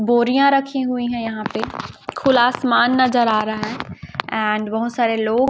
बोरियां रखी हुई है यहां पे खुला आसमान नजर आ रहा है एंड बहुत सारे लोग--